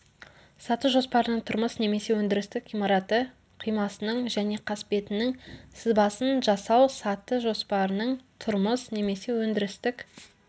саты жоспарының тұрмыс немесе өндірістік ғимараты қимасының және қасбетінің сызбасын жасау саты жоспарының тұрмыс немесе өндірістік